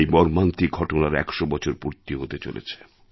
এই মর্মান্তিক ঘটনার ১০০ বছর পূর্তি হতে চলেছে